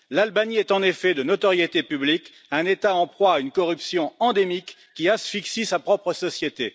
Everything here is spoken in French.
L'Albanie est, en effet, de notoriété publique, un État en proie à une corruption endémique qui asphyxie sa propre société.